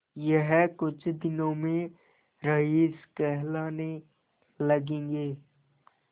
यह कुछ दिनों में रईस कहलाने लगेंगे